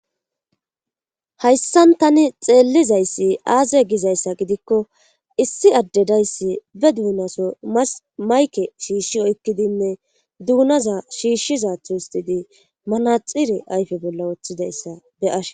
hayssan tani xeellizayssi aaze gizayssa gidikko issi adde dayssi be duunaso mayke shiishshi oykkidinne duunaza shiishshiza tustidi manaxire ayfe bolla wooththidayssa be7ashe.